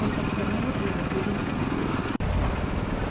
он остановит его или нет